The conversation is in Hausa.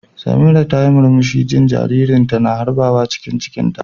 Samiratu tayi murmushi jin jaririnta na harbawa cikin cikinta.